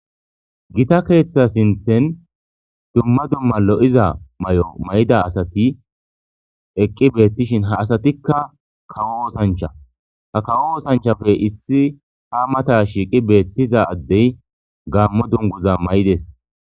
Gita keeththa sinthen dumma dumma lo7iza may7o may7ida asati eqqi beettishin ha asatikka kawo oosancha ha kawo oosanchafe issi ha mata shiiqi beettiza addey gaammo dunguza may7des.